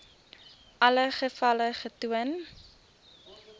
alle gevalle getoon